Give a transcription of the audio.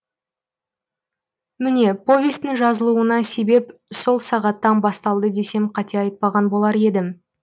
міне повестің жазылуына себеп сол сағаттан басталды десем қате айтпаған болар едім